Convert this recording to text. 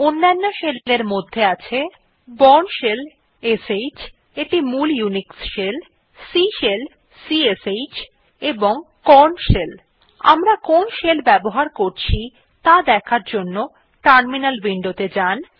অন্যান্য শেল এর মধ্যে আছে বোর্ন শেল যেটি মূল ইউনিক্স শেল C শেল এবং কর্ন শেল আমরা কোন শেল ব্যবহার করছি তা দেখার জন্য টার্মিনাল উইন্ডোতে যান